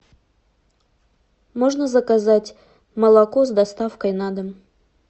можно заказать молоко с доставкой на дом